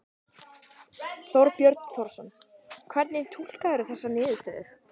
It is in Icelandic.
Þorbjörn Þórðarson: Hvernig túlkarðu þessar niðurstöður?